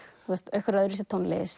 einhverja öðruvísi tónlist